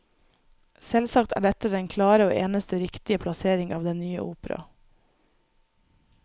Selvsagt er dette den klare og eneste riktige plassering av den nye opera.